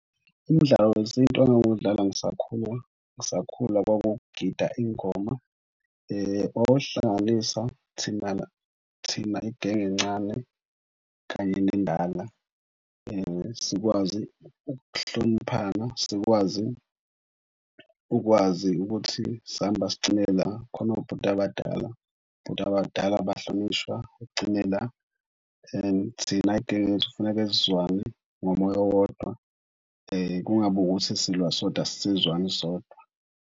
Umdlalo wesintu engangiwudlala ngisakhula kwakugijinywa ingoma. Wawusihlanganisa thina thina igenge encane kanye nendala sikwazi ukuhloniphana, sikwazi ukwazi ukuthi sihamba sigcine la. Khona obhuti abadala, obhuti abadala bahlonishwa ugcine la and thina genge yethu kufuneke sizwane ngomoya owodwa kungabi ukuthi silwa sodwa asisezwani sodwa.